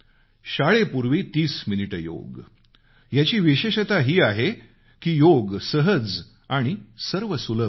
शाळेपूर्वी 30 मिनिटे योग याची विशेषता ही आहे की योग सहज आणि सर्वसुलभ आहे